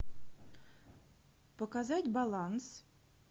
показать баланс